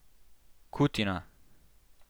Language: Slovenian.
Kutina.